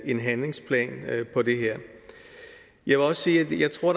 en handlingsplan for det her jeg vil også sige at jeg tror